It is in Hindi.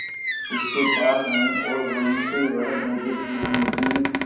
उसके पास आए और वहीं से वह भयभीत हिरनी की